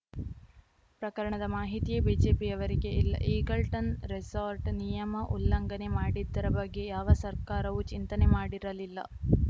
ಪ್ರಕರಣದ ಮಾಹಿತಿಯೇ ಬಿಜೆಪಿಯವರಿಗೆ ಇಲ್ಲ ಈಗಲ್ಟನ್‌ ರೆಸಾರ್ಟ್‌ ನಿಯಮ ಉಲ್ಲಂಘನೆ ಮಾಡಿದ್ದರ ಬಗ್ಗೆ ಯಾವ ಸರ್ಕಾರವೂ ಚಿಂತನೆ ಮಾಡಿರಲಿಲ್ಲ